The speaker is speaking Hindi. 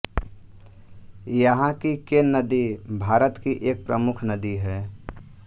यहाँ की केन नदी भारत की एक प्रमुख नदी है